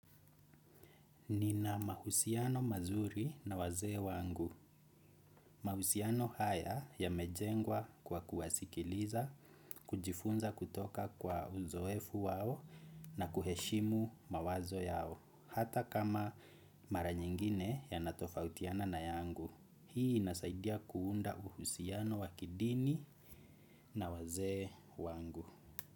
Nina mahusiano mazuri na wazee wangu. Mahusiano haya yamejengwa kwa kuwasikiliza, kujifunza kutoka kwa uzoefu wao na kuheshimu mawazo yao, hata kama mara nyingine yanatofautiana na yangu. Hii inasaidia kuunda uhusiano wa kidini na wazee wangu.